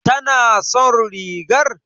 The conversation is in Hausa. Tana son rigar?